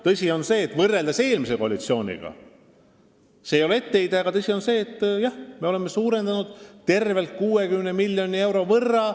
Tõsi on see, et võrreldes eelmise koalitsiooniga – see ei ole etteheide – me oleme suurendanud kaitseinvesteeringuid tervelt 60 miljoni euro võrra.